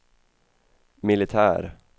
militär